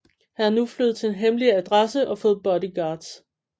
Han er nu flyttet til en hemmelig adresse og fået bodyguards